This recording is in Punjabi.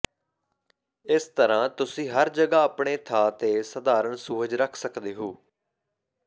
ਇਸ ਤਰ੍ਹਾਂ ਤੁਸੀਂ ਹਰ ਜਗ੍ਹਾ ਆਪਣੇ ਥਾਂ ਤੇ ਸਧਾਰਨ ਸੁਹਜ ਰਖ ਸਕਦੇ ਹੋ